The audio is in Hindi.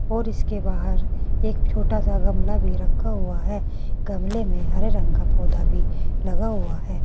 और इसके बाहर एक छोटा सा गमला भी रखा हुआ है गमले में हरे रंग का पौधा भी लगा हुआ है।